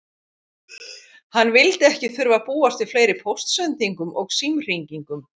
Hann vildi ekki þurfa að búast við fleiri póstsendingum og símhringingum.